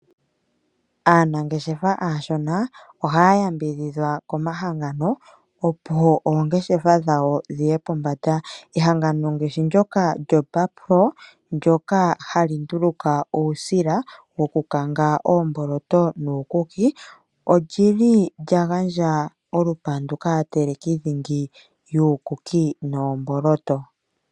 Aanageshefa aashona ohaya yambidhidhwa komahangano opo ongeshefa dhawo dhiye pombanda ehangano ngashi ndoka lyo Barkpro lyo hali nduluka uusila woku kanga oomboloto nuukuki ondjili lyaganja olupandu kaateleki dhingi yuukuki noomboloto.